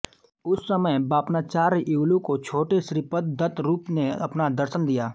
उस समय बापनाचार्युलू को छोटे श्रीपद ने दत्तरूप ने अपना दर्शन दिया